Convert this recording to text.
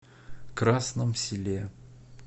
красном селе